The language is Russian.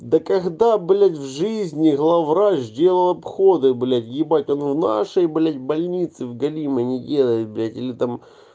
да когда блять в жизни главврач сделал обходы блять ебать он у нашей блять больницы в големой не делай блять или там